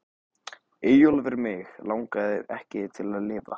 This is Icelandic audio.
Eyjólfur Mig langaði ekki til að lifa.